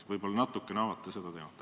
Võib-olla natuke avate seda teemat.